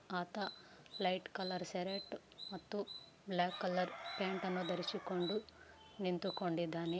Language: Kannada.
ಆತ ಲೈಟ್‌ ಕಲರ್‌ ಶರ್ಟ್‌ ಮತ್ತು ಬ್ಲಾಕ್‌ ಕಲರ್‌ ಪ್ಯಾಂಟ ನ್ನು ಧರಸಿಕೊಂಡು ನಿಂತುಕೊಂಡಿದ್ದಾನೆ.